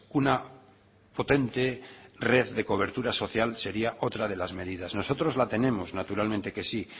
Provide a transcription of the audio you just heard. una potente red de cobertura social sería otra de las medidas nosotros la tenemos naturalmente que sí